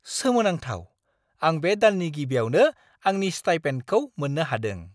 सोमोनांथाव! आं बे दाननि गिबियावनो आंनि स्टाइपेन्दखौ मोननो हादों।